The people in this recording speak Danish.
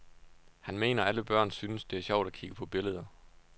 Han mener, alle børn synes, det er sjovt at kigge på billeder.